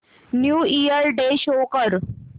new year day show कर